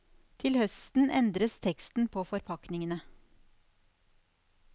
Til høsten endres teksten på forpakningene.